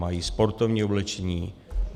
Mají sportovní oblečení.